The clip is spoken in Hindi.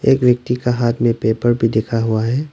एक व्यक्ति का हाथ में पेपर भी दिखा हुआ है।